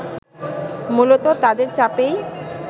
মূলত তাদের চাপেই